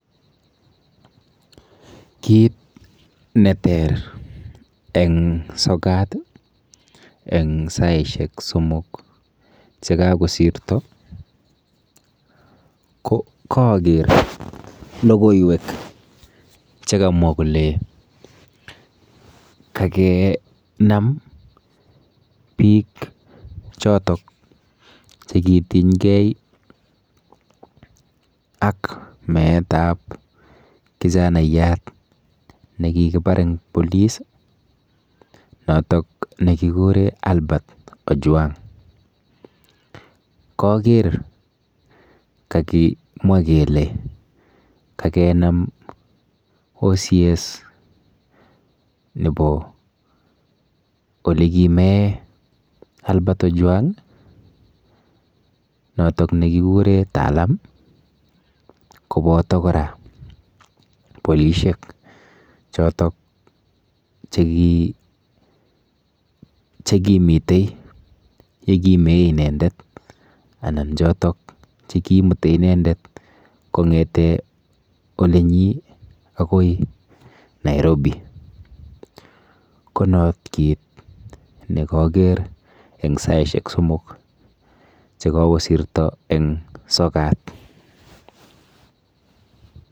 Kit neter eng sokat eng saishek somok chekakosirto ko kaaker logoiwek chekamwa kole kakenam biik chotok chekitinykei ak meetap kijanaiyat nekikipar eng police notok nekikure Albert Ojwang. Kaker kakimwa kele kakenam OCS nepo olekimee Albert Ojwang notok nekikure Talam kopoto kora bolishek chotok chekimite yekimee inendet anan chotok chekiimute inendet kong'ete olenyii akoi Nairobi. Ko not kit nekaker eng saishek somok chekakosirto eng sokat.